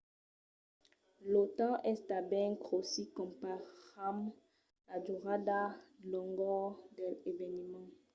lo temps es tanben cossí comparam la durada longor dels eveniments